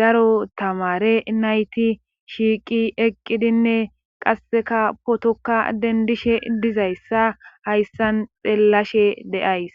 daro tamare nayti shiiqi eqqidinne qasseka potoka dendishe dizayssa hayssan xeellashe deays